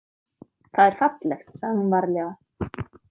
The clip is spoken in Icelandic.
Það er fallegt, sagði hún varlega.